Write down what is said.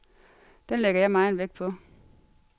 Den lægger jeg megen vægt på.